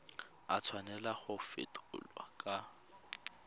a tshwanela go fetolwa kwa